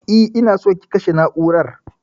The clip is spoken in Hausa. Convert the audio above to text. E, ina so ki kashe na'urar.